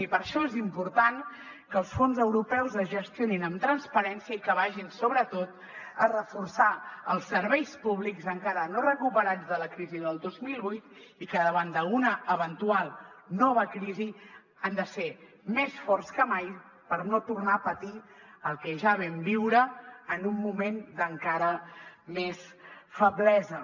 i per això és important que els fons europeus es gestionin amb transparència i que vagin sobretot a reforçar els serveis públics encara no recuperats de la crisi del dos mil vuit i que davant d’una eventual nova crisi han de ser més forts que mai per no tornar a patir el que ja vam viure en un moment d’encara més feblesa